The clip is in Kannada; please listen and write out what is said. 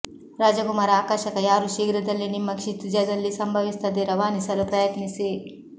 ರಾಜಕುಮಾರ ಆಕರ್ಷಕ ಯಾರು ಶೀಘ್ರದಲ್ಲೇ ನಿಮ್ಮ ಕ್ಷಿತಿಜದಲ್ಲಿ ಸಂಭವಿಸುತ್ತದೆ ರವಾನಿಸಲು ಪ್ರಯತ್ನಿಸಿ